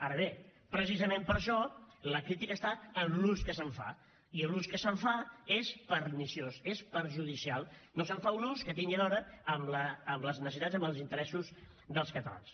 ara bé precisament per això la crítica està en l’ús que se’n fa i l’ús que se’n fa és perniciós és perjudicial no se’n fa un ús que tingui a veure amb les necessitats amb els interessos dels catalans